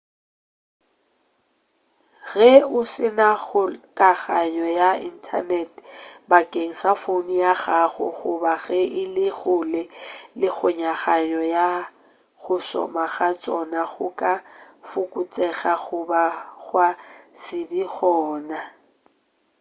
ge o se na kgokaganyo ya inthanete bakeng sa founo ya gago goba ge e le kgole le kgokaganyo go šoma ga tšona go ka fokotšega goba gwa se be gona